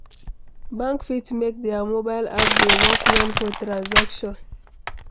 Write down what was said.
Bank fit make their mobile app dey work well for transaction